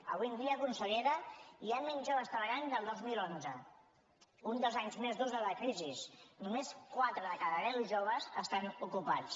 avui en dia consellera hi ha menys joves treballant que el dos mil onze uns dels anys més durs de la crisi només quatre de cada deu joves estan ocupats